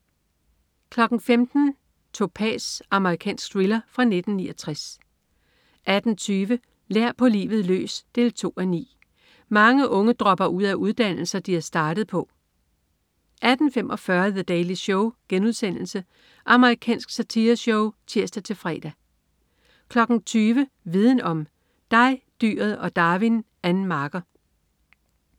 15.00 Topaz. Amerikansk thriller fra 1969 18.20 Lær på livet løs 2:9. Mange unge dropper ud af uddannelser, de er startet på 18.45 The Daily Show.* Amerikansk satireshow (tirs-fre) 20.00 Viden om: Dig, dyret og Darwin. Ann Marker